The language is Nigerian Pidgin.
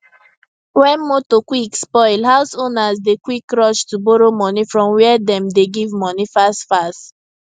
when motor quick spoil house owners dey quick rush to borrow money from were dem dey give money fast fast